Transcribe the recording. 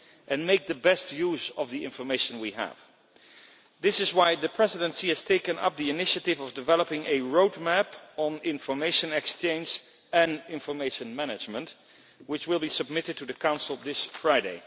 and to make the best use of the information we have. This is why the Presidency has taken up the initiative of developing a roadmap on information exchange and information management, which will be submitted to the Council this Friday.